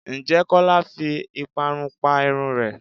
Ǹjẹ́ Kọ́lá fi ìparun pa irun rẹ?